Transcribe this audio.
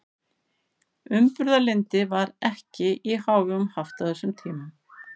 Umburðarlyndi var ekki í hávegum haft á þessum tímum.